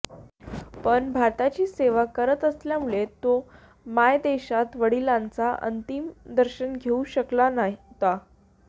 पण भारताची सेवा करत असल्यामुळे तो मायदेशात वडिलांचे अंतिम दर्शन घेऊ शकला नव्हता